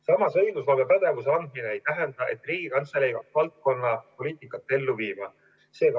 Samas, õigusloomepädevuse andmine ei tähenda, et Riigikantselei hakkab valdkonna poliitikat ellu viima.